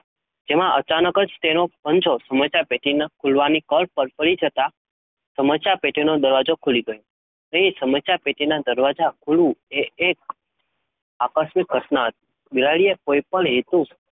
તેમાં અચાનક, તેનો પંજો સમસ્યા પેટી ના ખુલવાના કોર પર છતાં દરવાજો ખુલી ગયો, તે સમસ્યા પેટી ને ખૂલવું એ એક આકર્ષક, પ્રશ્ન હતો,